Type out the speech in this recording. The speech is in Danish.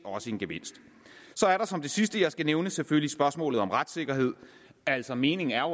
en gevinst så er der som det sidste jeg skal nævne selvfølgelig spørgsmålet om retssikkerhed altså meningen er